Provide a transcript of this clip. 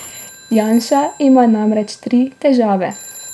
Janša ima namreč tri težave.